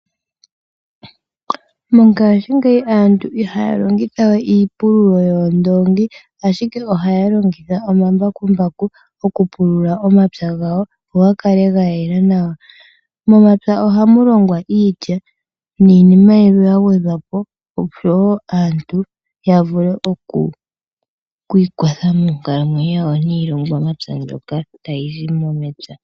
Mongashingeyi aantu ihaya longitha we iipululo yoondoongi, ashike ohaya longitha omambakumbaku okupulula omapya gawo go ga kale ga yela nawa. Momapya ohamu longwa iilya niinima yimwe ya gwedhwa po, oshowo aantu ya vule oku ikwatha moonkalamwenyo dhawo niilongomwa mbyoka tayi zi momapya.